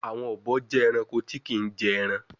Àwọn obo jẹ Ẹranko tí kín jé èràn.